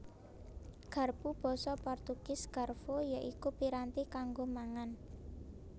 Garpu Basa Portugis Garfo ya iku piranti kanggo mangan